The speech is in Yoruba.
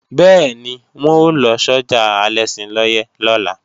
Bẹ́ẹ̀ni, wọn ó lọ sọ́jà Alẹ́ṣinlọ́yẹ́ lọ́la